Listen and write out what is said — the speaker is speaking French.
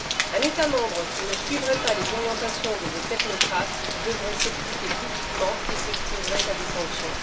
Un État membre qui ne suivrait pas les orientations de vos technocrates devrait s'expliquer publiquement et s'exposerait à des sanctions.